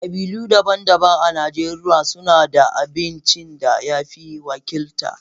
Kabilu daban-daban a Najeriya suna da abincin da ya fi wakilta.